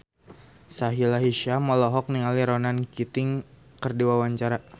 Sahila Hisyam olohok ningali Ronan Keating keur diwawancara